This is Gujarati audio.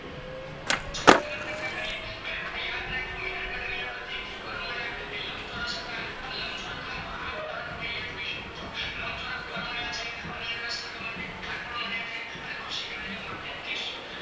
ચાલો આગળ ચર્ચા કરીએ ય યાદ ર્ખ્જો મહેર ગઢ ની અંદર જે ઘર મળ્યા એ લંબચોરસ હતા આ લંબચોરસ આ જો ઉદાહરણ જોઈ શકો છો લંબચોરસ ઘર મળ્યા છે અનાજ ના સંગ્રહ માટે કોઠાર માયા છે, અને શીકાર્ય માટે તીક્ષ્ણ મળ્યા છે ચાલો આગળ ચર્ચા કરીએ